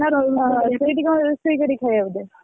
ଓହୋ ସେଇଠି କଣ ରୋଷେଇ କରି ଖାଇବ ବୋଧେ?